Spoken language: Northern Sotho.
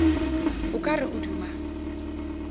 o ka re o duma